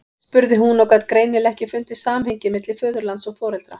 spurði hún og gat greinilega ekki fundið samhengið milli föðurlands og foreldra.